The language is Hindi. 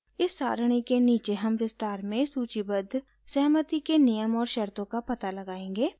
इस सरणी के नीचे हम विस्तार में सूचीबद्ध सहमति के नियम और शर्तों का पता लगाएंगे